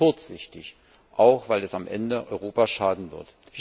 Und das ist kurzsichtig, auch weil es am Ende Europa schaden wird.